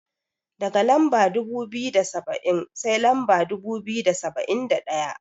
Daga Lamba dubu biyu da saba'in, sai lamba dubu biyu da saba'in da ɗaya.